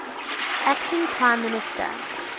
acting prime minister